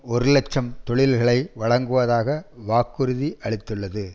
ஒரு இலட்சம் தொழில்களை வழங்குவதாக வாக்குறுதியளித்தது